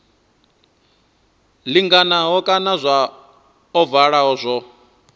linganaho kana zwa ovala zwo